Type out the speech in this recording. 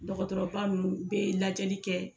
Dɔgɔtɔrɔba ninnu, u bɛ ladiyali kɛ.